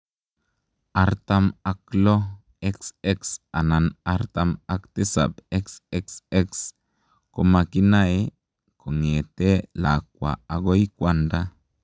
Artam ak loo, XX anan artam ak tisap, XXX komakinamee kongetee lakwaa agoi kwandaa